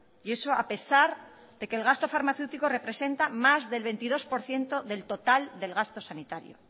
y eso a pesar de que el gasto farmacéutico representa más del veintidós por ciento del total del gasto sanitario